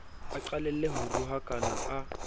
a qalelle ho rohakana a